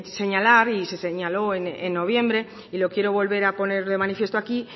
señalar y se señaló en noviembre y lo quiero volver a poner de manifiesto aquí